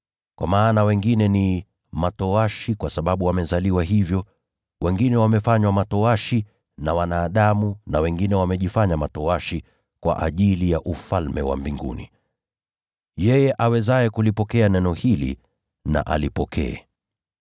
Kwa maana wengine ni matowashi kwa sababu wamezaliwa hivyo; wengine wamefanywa matowashi na wanadamu; na wengine wamejifanya matowashi kwa ajili ya Ufalme wa Mbinguni. Yeye awezaye kulipokea neno hili na alipokee.”